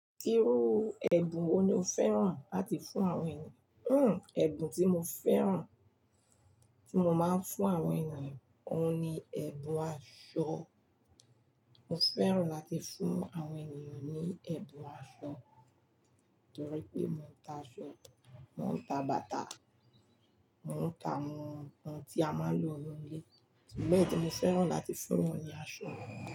Irú ẹ̀bùn wo ni o fẹ́ràn láti fún àwọn ènìyàn? Hmm, ẹ̀bùn tí mo fẹ́ràn tí mo máa ń fún àwọn ènìyàn, òun ni ẹ̀bùn aṣọ. Mo fẹ́ràn láti fún àwọn ènìyàn ní ẹ̀bùn aṣọ torí pé mo ń ta aṣọ, mò ń ta bàtà, mò ń ta ohun tí a máa ń lò ninu ile Bẹ́ẹ̀ni, mo fẹ́ràn láti fún wọ́n ní aṣọ.